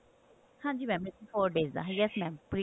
ਹਾਂਜੀ ਮਾ ਬਿਲਕੁਲ eighty four days ਦਾ yes mam pre